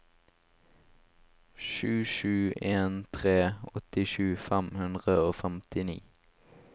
sju sju en tre åttisju fem hundre og femtini